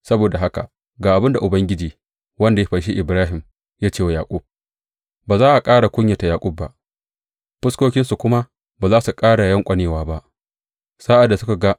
Saboda haka ga abin da Ubangiji wanda ya fanshi Ibrahim, ya ce wa gidan Yaƙub, Ba za a ƙara kunyata Yaƙub ba; fuskokinsu kuma ba za su ƙara yanƙwanewa ba.